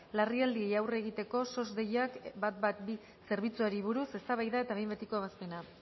larrialdiei aurre egiteko sos deiakminus ehun eta hamabi zerbitzuari buruz eztabaida eta behin betiko ebazpena